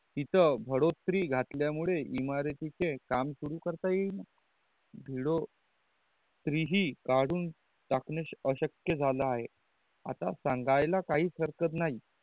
इत बढोतरी घातल्या मुले इमारती चे काम शुरू करता येईल भीड़ों तरिहि कडून अशक्य झाला आहे आता संगल्या काहीच हरकत नाही